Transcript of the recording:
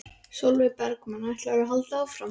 Sólveig Bergmann: Ætlar þú að halda áfram?